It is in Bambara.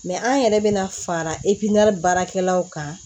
an yɛrɛ bɛna fara e baarakɛlaw kan